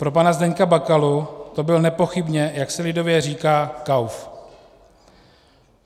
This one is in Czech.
Pro pana Zdeňka Bakalu to byl nepochybně, jak se lidově říká, kauf.